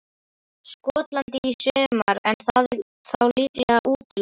Skotlandi í sumar en það er þá líklega útilokað.